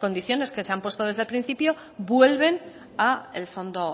condiciones que se han puesto desde principio vuelven al fondo